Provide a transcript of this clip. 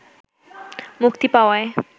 মুক্তি পাওয়ায়